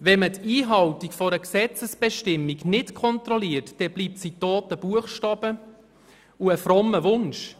Wenn man die Einhaltung einer Gesetzesbestimmung nicht kontrolliert, bleibt sie toter Buchstabe und frommer Wunsch.